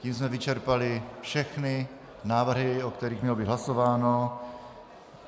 Tím jsme vyčerpali všechny návrhy, o kterých mělo být hlasováno.